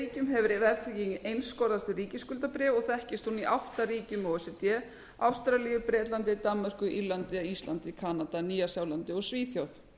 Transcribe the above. ríkjum hefur verðtrygging einskorðast við ríkisskuldabréf og þekkist hún í átta ríkjum o e c d ástralíu bretlandi danmörku írlandi íslandi kanada nýja sjálandi og svíþjóð